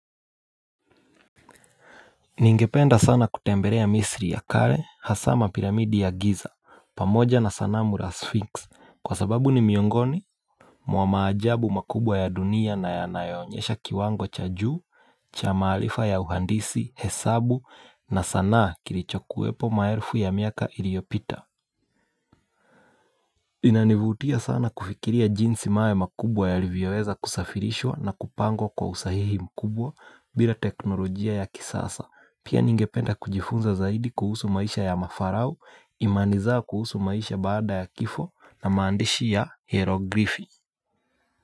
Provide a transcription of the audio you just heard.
Ningependa sana kutembelea Misri ya kale, hasa ma Pyiramidi ya Giza, pamoja na sanamu la Sphinx kwa sababu ni miongoni, mwa maajabu makubwa ya dunia na yanayonyesha kiwango cha juu, cha maarifa ya uhandisi, hesabu na sanaa kilichokuwepo maelfu ya miaka iliyopita. Inanivutia sana kufikiria jinsi mawe makubwa yalivyoweza kusafirishwa na kupangwa kwa usahihi mkubwa bila teknolojia ya kisasa. Pia, ningependa kujifunza zaidi kuhusu maisha ya mafarao, imani zao, kuhusu maisha baada ya kifo na maandishi ya hieroglifi.